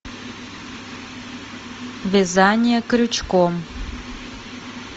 вязание крючком